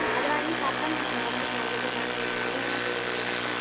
அத வாங்கி சாப்பிட்டா நம்ம உடம்புக்கு நல்லதுன்னு நான் நினைக்கிறேன் நீங்க என்ன சொல்றீங்க மெர்சி